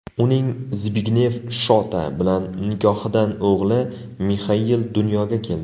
Uning Zbignev Shota bilan nikohidan o‘g‘li Mixail dunyoga keldi.